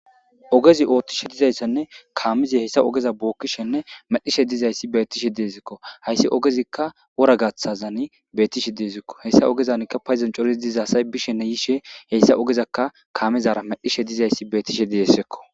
ogezi ooththishe dizayssanne kaamizi hessa ogeza bookkishenne medhishe dizayssi beetishe deezikko hayssi ogezikka wora gaththazani beetishe deezikko heyssa ogezankka payzancoriz dizasay bishenne yishe heyssa ogezakka kaamezara medhishe dizayssi beetishe dizesekko